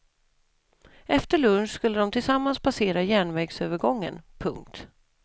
Efter lunch skulle de tillsammans passera järnvägsövergången. punkt